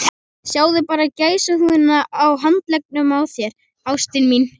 Sjáðu bara gæsahúðina á handleggjunum á þér, ástin mín.